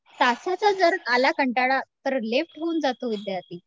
तासाचा जर आला कंटाळा तर लेफ्ट होऊन जातो विद्यार्थी